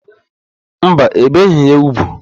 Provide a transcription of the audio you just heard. Mba, ebeghị ya úgwù.